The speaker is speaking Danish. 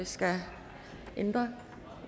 skal ændre